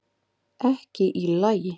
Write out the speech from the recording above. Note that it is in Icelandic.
Ekki í lagi